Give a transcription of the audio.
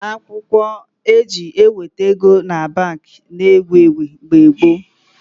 Akwụkwọ eji eweta ego na Baankị na ewu ewu mgbe gboo